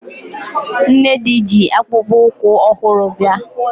Nnedi ji akpụkpụ ụkwụ ọhụrụ bịa